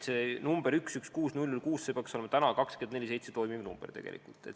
Number 116 006 peaks olema 24/7 vastav number.